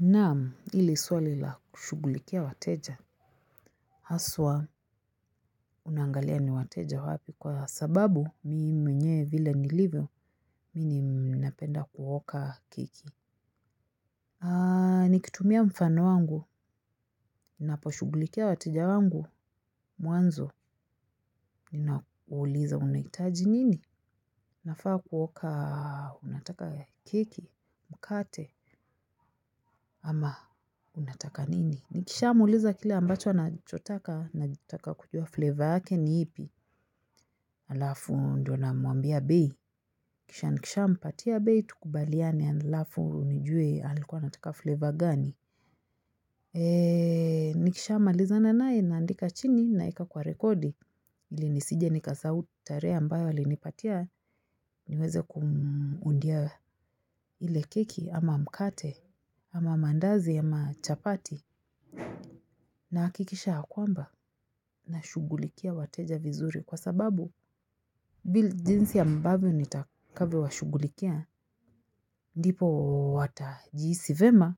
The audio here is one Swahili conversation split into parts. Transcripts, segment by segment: Naam, hili swali la kushughulikia wateja. Haswa unaangalia ni wateja wapi kwa sababu mimi mwenye vile nilivyo, mimi napenda kuoka keki. Nikitumia mfano wangu, ninaposhughulikia wateja wangu. Mwanzo, ninakuuliza unahitaji nini? Nafaa kuoka unataka ya keki, mkate ama unataka nini. Nikishamuuliza kile ambacho anachotaka, nataka kujua flavor yake ni ipi. Alafu ndio namwambia bei. Kisha nikishampatia bei, tukubaliane, alafu nijue alikuwa anataka flavor gani. Nikishamalizana naye, naandika chini, naeka kwa rekodi ili nisije nikasahau tarehe ambayo alinipatia niweze kumuundia ile keki ama mkate ama mandazi ama chapati nahakikisha ya kwamba nashughulikia wateja vizuri kwa sababu jinsi ambavyo nitakavyo washughulikia ndipo watajihisi vyema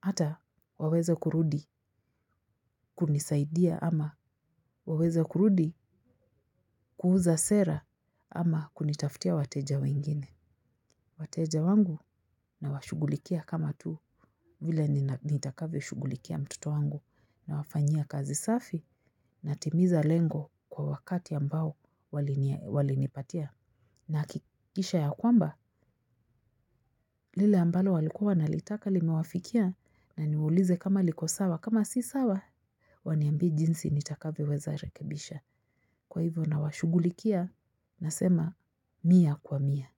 ata waweze kurudi kunisaidia ama waweze kurudi kuuza sera ama kunitaftia wateja wengine. Wateja wangu nawashughulikia kama tuu vile nitakavyo shughulikia mtoto wangu nawafanyia kazi safi natimiza lengo kwa wakati ambao walinipatia. Nahakikisha ya kwamba lile ambalo walikuwa wanalitaka limewafikia na niuulize kama liko sawa kama si sawa. Waniambie jinsi nitakavyoweza rekebisha kwa hivyo nawashugulikia nasema mia kwa mia.